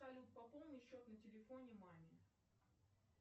салют пополни счет на телефоне маме